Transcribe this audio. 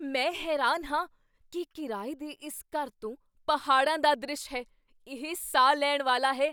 ਮੈਂ ਹੈਰਾਨ ਹਾਂ ਕੀ ਕਿਰਾਏ ਦੇ ਇਸ ਘਰ ਤੋਂ ਪਹਾੜਾਂ ਦਾ ਦ੍ਰਿਸ਼ ਹੈ। ਇਹ ਸਾਹ ਲੈਣ ਵਾਲਾ ਹੈ!